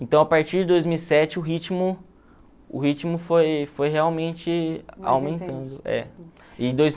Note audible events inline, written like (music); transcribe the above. Então, a partir de dois mil e sete, o ritmo o ritmo foi foi realmente aumentando. É (unintelligible)